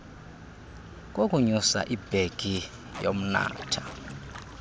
kokunyusa ibhegi yomnatha